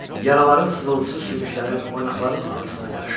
Yaraların sızıltısı sümüklərin, oynaqların ağrısına qarışırdı.